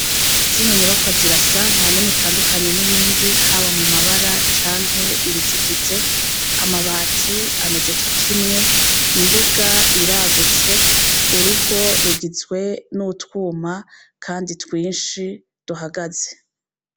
Zino nyubakwa zirasa ntanimwe itandukanye n'iyindi haba mu mabara canke ibizigize amabati ameze co kimwe imbuga iragutse urugo rugizwe n'utwuma kandi twishi duhagaze.